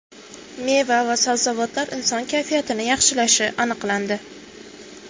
Meva va sabzavotlar inson kayfiyatini yaxshilashi aniqlandi.